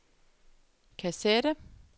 kassette